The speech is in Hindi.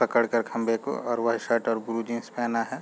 पकड़ कर खम्बे को और वाइट शर्ट और ब्लू जीन्स पेहना है।